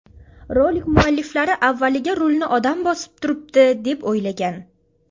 Rolik mualliflari avvaliga rulni odam bosib turibdi, deb o‘ylagan.